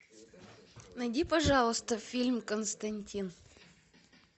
найди пожалуйста фильм константин